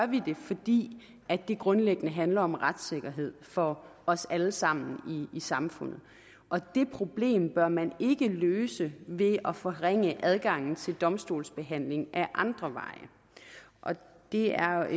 vi det fordi det grundlæggende handler om retssikkerhed for os alle sammen i samfundet og det problem bør man ikke løse ved at forringe adgangen til domstolsbehandling ad andre veje det er